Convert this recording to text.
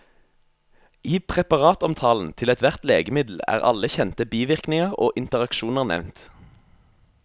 I preparatomtalen til ethvert legemiddel er alle kjente bivirkninger og interaksjoner nevnt.